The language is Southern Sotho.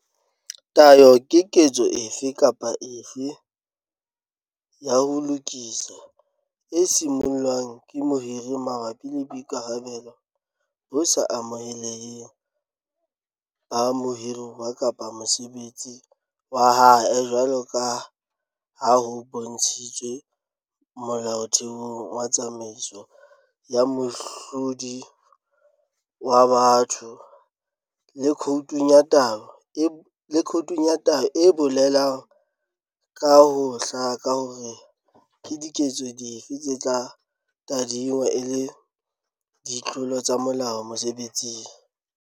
Tayo ke ketso efe kapa efe ya ho lokisa, e simollwang ke mohiri mabapi le boitshwaro bo sa amoheleheng ba mohiruwa kapa mosebetsi wa hae jwalo ka ha ho bontshitswe molaotheong wa tsamaiso ya mohlodi wa batho le khoutung ya tayo e bolelang ka ho hlaka hore ke diketso dife tse tla tadingwa e le ditlolo tsa molao mosebetsing.